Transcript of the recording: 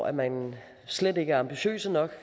at man slet ikke er ambitiøs nok